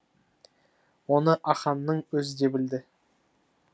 оны ахаңның өзі де білді